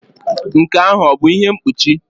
Nke ahụ ọ bụ ihe mkpuchi?